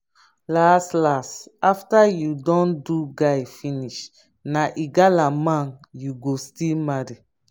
las las after you don do guy finish na igala man you go still marry